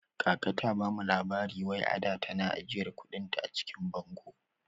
Kaka ta bamu labari wai ada tana ajiyar kuɗin ta a cikin bango